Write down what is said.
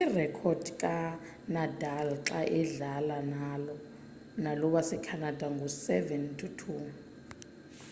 irekhodi kanadal xa edlala nalo wasecanada ngu 7-2